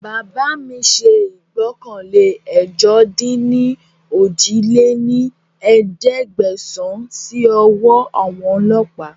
Bàbá mi ṣe ìgbọ́kànlé ẹ̀jọ-dín-ní-ojì lé ní ẹ̀ẹ́dẹ́gbẹ́sán síí ọwọ́ àwọn ọlọ́pa